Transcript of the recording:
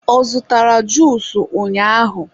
ọ zụtara juusu ụnyaahụ?